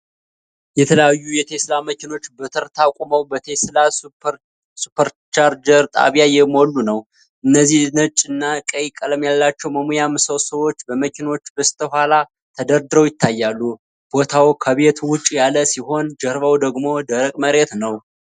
የተለያዩ የቴስላ መኪኖች በተርታ ቆመው በቴስላ ሱፐርቻርጀር ጣቢያ እየሞሉ ነው። እነዚህ ነጭ እና ቀይ ቀለም ያላቸው መሙያ ምሰሶዎች በመኪኖቹ በስተኋላ ተደርድረው ይታያሉ። ቦታው ከቤት ውጭ ያለ ሲሆን ጀርባው ደግሞ ደረቅ መሬት ነው።